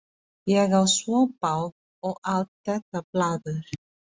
Ég á svo bágt og allt þetta blaður.